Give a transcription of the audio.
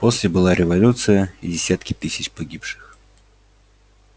после была революция и десятки тысяч погибших